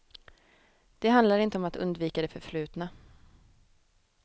Det handlar inte om att undvika det förflutna.